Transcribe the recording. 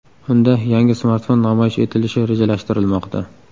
Unda yangi smartfon namoyish etilishi rejalashtirilmoqda.